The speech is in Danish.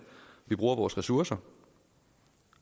vi bruger vores ressourcer